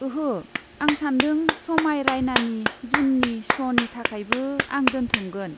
ओंहो, आं सानदों समाय राइनानि जुननि श'नि थाखायबो आं दोन्थुमगोन?